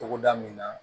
Togoda min na